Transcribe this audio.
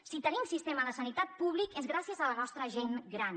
si tenim sistema de sanitat públic és gràcies a la nostra gent gran